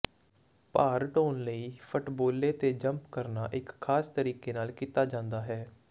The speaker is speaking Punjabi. ਭਾਰ ਢੋਣ ਲਈ ਫੱਟਬੋਲੇ ਤੇ ਜੰਪ ਕਰਨਾ ਇੱਕ ਖਾਸ ਤਰੀਕੇ ਨਾਲ ਕੀਤਾ ਜਾਂਦਾ ਹੈ